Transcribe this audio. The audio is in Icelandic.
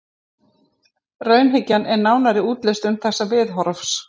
Raunhyggjan er nánari útlistun þessa viðhorfs.